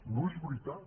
no és veritat